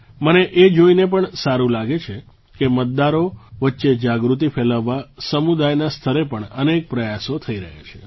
મને એ જોઈને પણ સારું લાગે છે કે મતદારો વચ્ચે જાગૃતિ ફેલાવવા સમુદાયના સ્તરે પણ અનેક પ્રયાસો થઈ રહ્યા છે